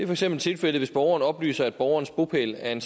for eksempel tilfældet hvis borgeren oplyser at borgerens bopæl er en